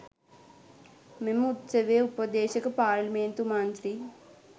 මෙම උත්සවයේ උපදේශක පාරේලිමේන්තු මන්ත්‍රී